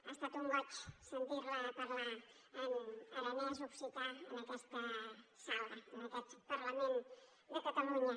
ha estat un goig sentir la parlar en aranès occità en aquesta sala en aquest parlament de catalunya